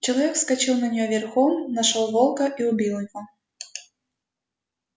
человек вскочил на неё верхом нашёл волка и убил его